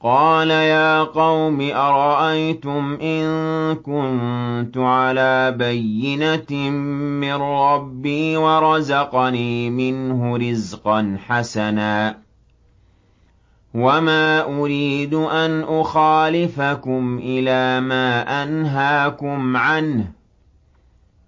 قَالَ يَا قَوْمِ أَرَأَيْتُمْ إِن كُنتُ عَلَىٰ بَيِّنَةٍ مِّن رَّبِّي وَرَزَقَنِي مِنْهُ رِزْقًا حَسَنًا ۚ وَمَا أُرِيدُ أَنْ أُخَالِفَكُمْ إِلَىٰ مَا أَنْهَاكُمْ عَنْهُ ۚ